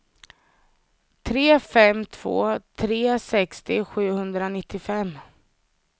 tre fem två tre sextio sjuhundranittiofem